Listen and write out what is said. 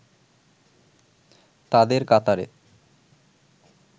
তাদের কাতারে